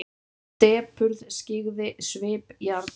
Depurð skyggði svip jarla.